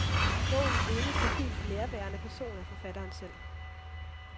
Bogens eneste helt nærværende person er forfatteren selv.